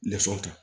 Nafan kan